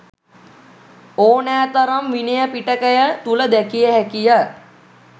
ඕනෑ තරම් විනය පිටකය තුළ දැකිය හැකි ය.